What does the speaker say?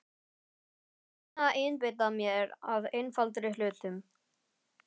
Ég reyni að einbeita mér að einfaldari hlutum.